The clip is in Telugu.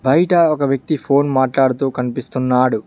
బయట ఒక వ్యక్తి ఫోన్ మాట్లాడుతూ కనిపిస్తున్నాడు.